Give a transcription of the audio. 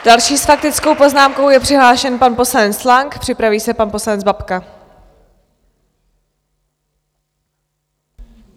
Další s faktickou poznámkou je přihlášen pan poslanec Lang, připraví se pan poslanec Babka.